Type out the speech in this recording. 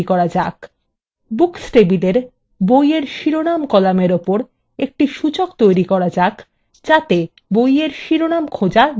books table বইয়ের শিরোনাম কলামের উপর একটি সূচক তৈরি করা যাক যাতে বইয়ের শিরোনাম খোঁজার গতি দ্রুততর হয়